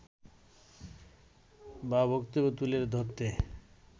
বা বক্তব্য তুলে ধরতে